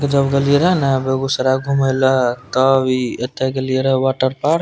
जब गेल रहलिये ना बेगूसराय घूमे ला तब ई एते गेलिये रहे वाटर पार्क --